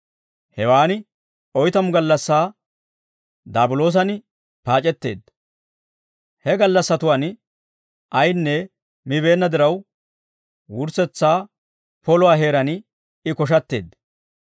Hewaan oytamu gallassaa daabiloosan paac'etteedda. He gallassatuwaan ayaanne mibeenna diraw wurssetsaa poluwaa heeraan I koshatteedda.